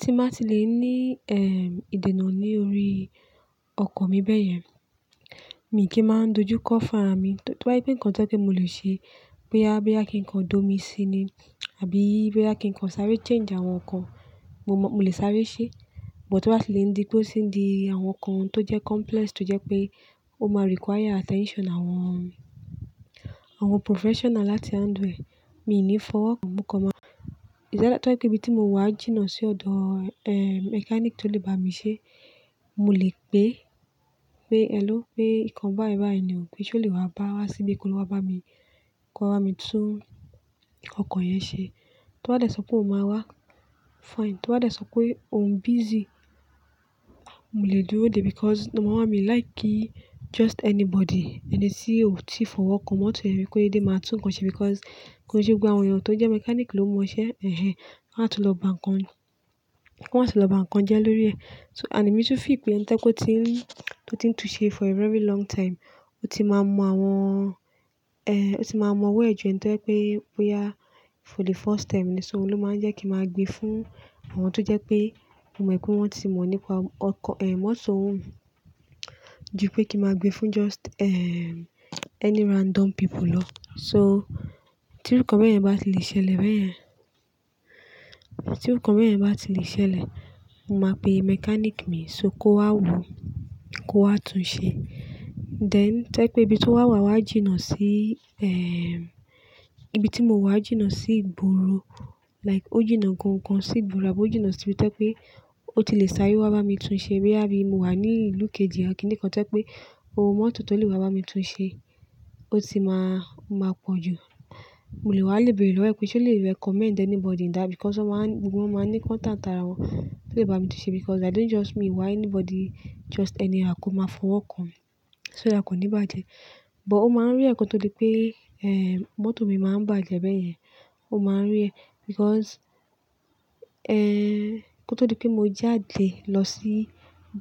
Ti má ti lè ní, ehm, ìdènà ní orí ọkọ̀ mi bẹ́yẹn, mi kì í máa dojú kọ́ fún ara mi. Tó bá yí pé nǹkan tó pé mo lè ṣe, pé a bí i bá kí nǹkan dọ̀ mí sí ní, àbí bí bá kí nǹkan sáré change àwọn nǹkan, mo mọ mo lè sáré ṣe. But tó bá ti lè di pé ó ti di àwọn nǹkan tó jẹ́ complex tó jẹ́ pé ó máa require attention àwọn, àwọn professional láti handle rẹ̀, mi ò ní fọwọ́ kan mú kọ máa. Ìdálátọ́ kí ibi tí mo wà jìnnà sí ọ̀dọ̀, eh, mechanic tó lè bá mi ṣe, mo lè pe pé, "Hello, pé nǹkan bá ẹ bá ènìyàn pé ṣé o lè wá bá wa síbí ko wa bá mi, kó bá mi tún ìkọkọ yẹn ṣe." Tó bá dẹ̀ sọ pé òun máa wá, fine. Tó bá dẹ̀ sọ pé òun busy, mo lè dúró dè because màá máa mi like kí just anybody, ẹni tí ò ti fọwọ́ kan mọ́tò yẹn rí kó yé dé máa tún nǹkan ṣe because nǹkan ṣe gbogbo àwọn èèyàn tó jẹ́ mechanic ló mọ iṣẹ́ ẹ̀hen. Wọ́n á tún lọ bá nǹkan, wọ́n á tún lọ bá nǹkan jẹ lórí ẹ. So and èmi tún feel pé nǹkan tó tí ń, tó ti ń tu ṣe for a very long time, ó ti máa mọ àwọn, eh, ó ti máa mọ ó wẹ̀ ju ǹkan tó ẹ pé bóyá for the first time. Ní ṣo ó ló máa ń jẹ́ kí máa gbe fún àwọn tó jẹ́ pé mo mọ̀ pé wọ́n ti mọ̀ nípa ọkọ, eh, mọ́tò. Ju pé kí máa gbe fún just, ehm, any random people lọ. So tí òǹkọ̀ọ̀ bẹ́yẹn bá ti lè ṣẹlẹ̀ bẹ́yẹn, tí òǹkọ̀ọ̀ bẹ́yẹn bá ti lè ṣẹlẹ̀, mo máa pe mechanic mi só kó wá wo, kó wá tún un ṣe. Then tó ẹ pé ibi tó wà wa wà jìnnà sí, ehm, ibi tí mo wà jìnnà sí ìgboro, like ó jìnnà gan-an kan sí ìgboro, àbí ó jìnnà síbi tó ẹ pé ó ti lè sáré wá bá mi tún ṣe bí i bá bí i mo wà ní ìlú kejì, à kí ni kan tó ẹ pé òun mọ́tò tó lè wá bá mi tún ṣe, ó ti máa, máa pọ̀ jù. Mo lè wá lébèrè lọ́wọ́ ẹ̀ pé ṣé o lè recommend anybody ní dà because wọ́n máa ń, gbogbo wọ́n máa ń ní contact ara wọn tó lè bá mi tún ṣe because I don't just meet why anybody just anyhow kó máa fọwọ́ kan. So ẹ kò ní bàjẹ́. But ó máa ń rí ẹ̀ kan tó lè pé, eh, mọ́tò mi máa ń bàjẹ́ bẹ́yẹn, ó máa ń rí ẹ because, eh, kó tó di pé mo jáde lọ sí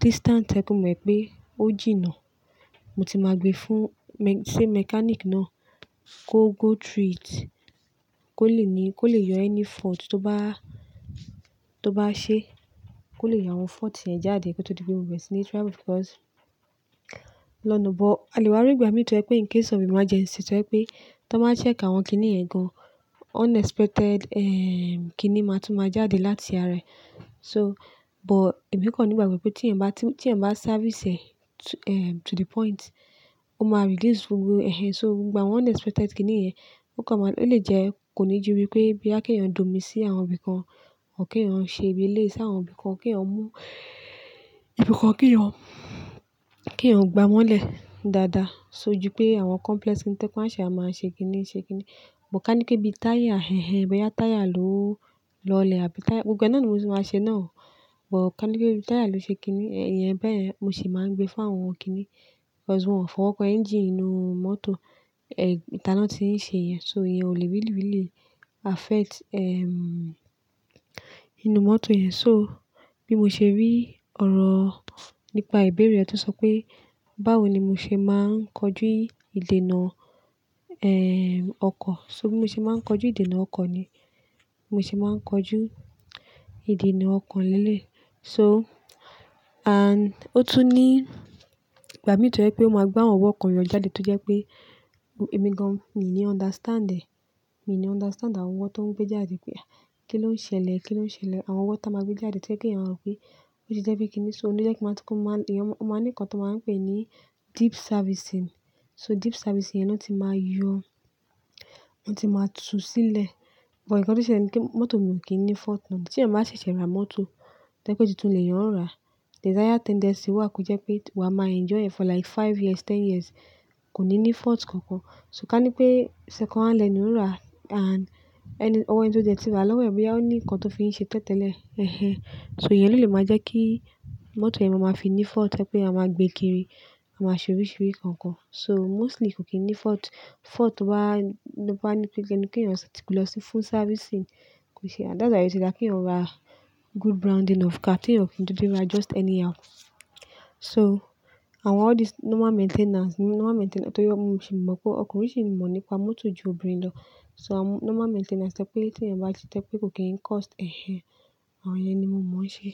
distance tó ẹ pé mo mọ̀ pé ó jìnnà, mo ti máa gbe fún me-- sé mechanic náà kó go through it, kó lè ní, kó lè yọ any fault tó bá, tó bá ṣe, kó lè yọ àwọn fault yẹn jáde kó tó di pé mo bẹ̀rẹ̀ sí ní travel because lọ́nà. But a lè wá rí ìgbà mìíràn tó ẹ pé ǹkan sọ̀bí máa jẹ́ ẹ̀ṣẹ̀ tó ẹ pé tó bá máa ṣẹ̀ṣẹ̀ ka àwọn kíní ẹ̀ gan-an, unexpected, ehm, kíní máa tún máa jáde láti ara ẹ̀. So but èmi kò ní ìgbà pé tí ẹ̀ ń bá, tí ẹ̀ ń bá service ẹ̀ to, ehm, to the point, ó máa release gbogbo ẹ̀hen. So ìgbà àwọn unexpected kíní yẹn kó máa, ó lè jẹ́ kò ní jú wípé bí i bá kí ẹ̀yàn dọ̀ mí sí àwọn ibì kan, ò kí ẹ̀yàn ṣe ìbílẹ̀ sí àwọn ibì kan, kí ẹ̀yàn mú ibì kan, kí ẹ̀yàn, kí ẹ̀yàn gba wọ́n lẹ̀ dáadáa. So ju pé àwọn complex ni tó ẹ pé aṣa máa ṣe kíní ṣe kíní. But ká ní pé bí táyà ẹ̀hen, bóyá táyà ló lọlẹ̀ àbí táyà-- gbogbo náà ni mo ti máa ṣe náà o. But ká ní pé bí táyà ló ṣe kíní, ẹ̀yẹn bẹ́ẹ̀ mo sì máa ń gbe fún àwọn kíní because wọ́n fọwọ́ kan engine inú mọ́tò, eh, ìtaná tí ń ṣe ìyẹn. So ìyẹn ò lè really really affect, ehm, inú mọ́tò yẹn. So bí mo ṣe rí ọ̀rọ̀ nípa ìbéèrè rẹ tó sọ pé báwo ni mo ṣe máa ń kojú ìdènà, eh, ọkọ̀. So bí mo ṣe máa ń kojú ìdènà ọkọ̀ ni. Mo sì máa ń kojú ìdènà ọkọ̀ lele yi. So and ó tún ní ìgbà mìíràn tó ẹ pé ó máa gbé àwọn ọwọ́ kan yọ jáde tó jẹ́ pé èmi gan-an, mi ò ní understand ẹ̀. Mi ò ní understand àwọn ọwọ́ tó ń gbé jáde pé kí ló ń ṣẹlẹ̀, kí ló ń ṣẹlẹ̀. Àwọn ọwọ́ táa máa gbé jáde tó ẹ pé kí ẹ̀yàn mọ̀ pé ó ti jẹ́ pé kíní. So ó jẹ́ kí máa tún kó máa, ìyẹn wọ́n máa ní nǹkan tó máa ń pè ní deep servicing. So deep servicing yẹn ló ti máa yọ, ó ti máa tú sílẹ̀. But ǹkan tó ṣe ni pé mọ́tò mi ò kí ń ní fault náà. Tí ẹ̀ máa ṣẹ̀ṣẹ̀ ra mọ́tò tó ẹ pé tí tún lè yan rà, there is higher tendency wà kó jẹ́ pé wa máa enjoy ẹ̀ for like five years, ten years, kò ní ní fault kankan. So ká ní pé second hand lẹ ní ò ń rà and ẹni, owó ẹni tó jẹ́ tí ra lọ́wọ́ ẹ̀ bóyá ó ní nǹkan tó fi ń ṣe tẹ́tẹ́lẹ̀, ẹ̀hen. So ìyẹn ló lè máa jẹ́ kí mọ́tò yẹn máa fi ní fault tó ẹ pé a máa gbé kiri, a máa ṣuríṣurí kankan. So mostly kò kí ń ní fault. Fault wá, bó ní pé kí ẹ̀yàn ṣe ti gbọdọ̀ lọ fún servicing, kò ṣe and that's why o ti dá kí ẹ̀yàn ra good grounding of car, kí ẹ̀yàn kí n tó dé ibi rà just anyhow. So àwọn all these normal maintenance, normal maintenance tó yẹ, mo sì mọ̀ pé ọkùnrin sì ń mọ̀ nípa mọ́tò ju obìnrin lọ. So àwọn normal maintenance tó pé tí ẹ̀ ń bá ṣe tó ẹ pé kò kí ń cost ẹ̀hen. Àwọn yẹn ni mo mọ̀ ọ́n ṣe.